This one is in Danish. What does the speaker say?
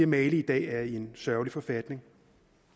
mali i dag er i en sørgelig forfatning